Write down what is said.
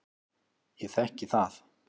Ég þekki það.